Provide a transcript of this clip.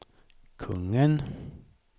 kungen